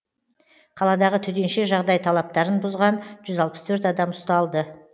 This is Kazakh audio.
қаладағы төтенше жағдай талаптарын бұзған жүз алпыс төрт адам ұсталды